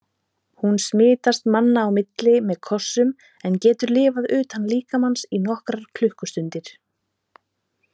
Hún smitast manna á milli með kossum en getur lifað utan líkamans í nokkrar klukkustundir.